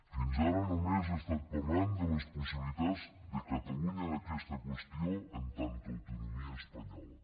fins ara només he estat parlant de les possibilitats de catalunya en aquesta qüestió en tant que autonomia espanyola